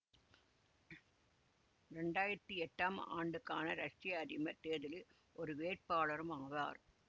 இரண்டாயிரத்தி எட்டாம் ஆண்டுக்கான ரஷ்ய அதிபர் தேர்தலில் ஒரு வேட்பாளரும் ஆவார்